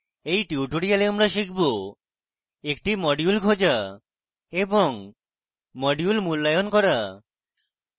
in tutorial আমরা শিখব: একটি module খোঁজা এবং module মূল্যায়ন করা